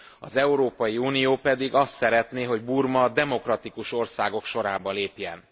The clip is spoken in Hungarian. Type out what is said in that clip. Az Európai Unió pedig azt szeretné, hogy Burma a demokratikus országok sorába lépjen.